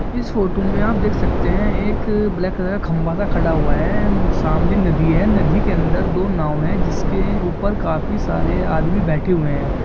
स फोटो मे आप देख सकते है एक ब्लैक कलर का खंबा स खड़ा हुआ है एन सामने नदी है नदी के अंदर दो नाव है जिसके ऊपर काफी सारे आदमी बैठे हुए है।